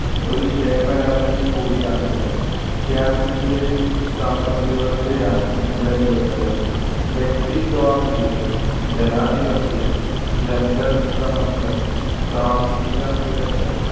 ഒരു ക്ഷേമരാജ്യം കൂടിയാണിത്. capitallegist സമ്പത്ത് വ്യവസ്ഥയാണ് നിലവിലുള്ളത്. വ്യക്തിസ്വാതന്ത്ര്യം, ജനാധിപത്യം, gender സമത്വം, സാമൂഹിക സുരക്ഷ